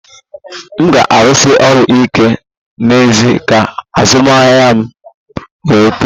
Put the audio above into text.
M ga-arụsi ọrụ ike n'ezie ka azụmahịa m wee too